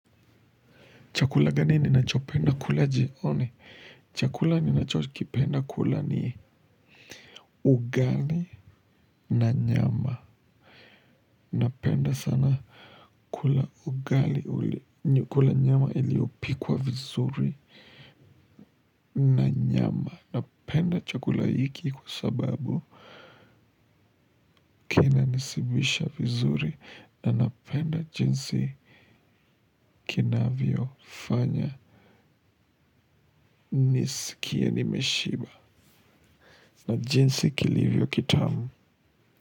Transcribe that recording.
Chakula gani ninachopenda kula jioni? Chakula ninachokipenda kula ni ugali na nyama. Napenda sana kula ugali uli kula nyama iliopikwa vizuri na nyama. Napenda chakula hiki kwa sababu kina nishibisha vizuri na napenda jinsi kinavyo fanya nisikie nimeshiba na jinsi kilivyo kitamu.